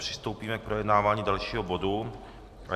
Přistoupíme k projednávání dalšího bodu.